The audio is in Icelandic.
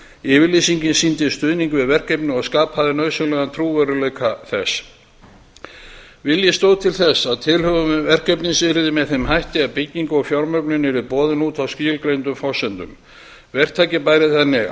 yfirlýsingin sýndi stuðning við verkefnið og skapaði nauðsynlegan trúverðugleika þess vilji stóð til þess að tilhögun verkefnisins yrði með þeim hætti að bygging og fjármögnun yrði boðin út á skilgreindum forsendum verktaki bæri þannig